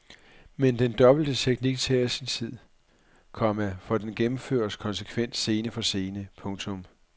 Men den dobbelte teknik tager sin tid, komma for den gennemføres konsekvent scene for scene. punktum